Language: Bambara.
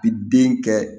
I den kɛ